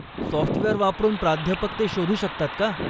Software वापरून प्राध्यापक ते शोधू शकतात का?